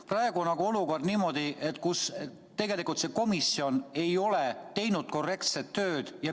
Praegu on lood niimoodi, et tegelikult komisjon ei ole teinud korrektset tööd.